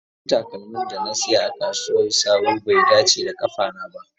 Sabon takalmin da na saya a kasuwar sabo bai dace da kafata ba.